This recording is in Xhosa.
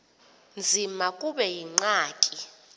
nzima kube yingxaki